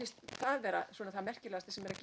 vera það merkilegasta sem er að